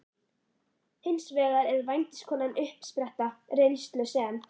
Hins vegar er vændiskonan uppspretta reynslu sem